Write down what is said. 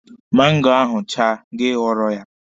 Mango ahụ chaa, gị ghọọrọ ya.